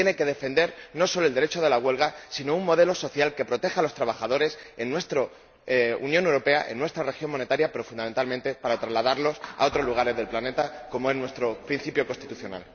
Usted tiene que defender no solo el derecho a la huelga, sino un modelo social que proteja a los trabajadores en nuestra Unión Europea, en nuestra región monetaria, para, fundamentalmente, trasladarlo a otros lugares del planeta, como reza nuestro principio constitucional.